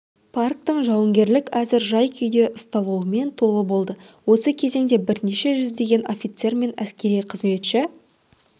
парктің жауынгерлік әзір жай-күйде ұсталуымен толы болды осы кезеңде бірнеше жүздеген офицер мен әскери қызметші